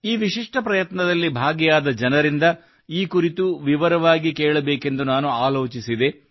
ಈ ವಿಶಿಷ್ಟ ಪ್ರಯತ್ನದಲ್ಲಿ ಭಾಗಿಯಾದ ಜನರಿಂದ ಈ ಕುರಿತು ವಿವರವಾಗಿ ಕೇಳಬೇಕೆಂದು ನಾನು ಆಲೋಚಿಸಿದೆ